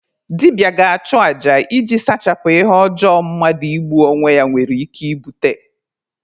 Dibịa ga-achụ aja iji sachapụ ihe ọjọọ mmadụ igbu onwe ya nwere ike ibute.